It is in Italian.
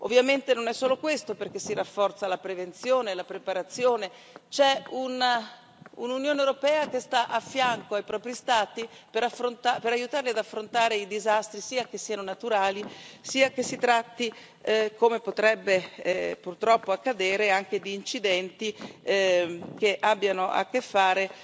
Ovviamente non è solo questo, perché si rafforza la prevenzione, la preparazione, c'è un'Unione europea che sta a fianco dei propri Stati per aiutarli ad affrontare i disastri, sia che siano naturali, sia che si tratti, come potrebbe purtroppo accadere, anche di incidenti che abbiano a che fare